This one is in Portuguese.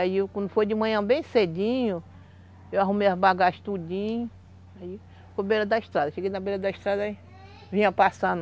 Aí quando foi de manhã bem cedinho, eu arrumei as bagagens tudinho, aí foi beira da estrada, cheguei na beira da estrada aí, vinha passando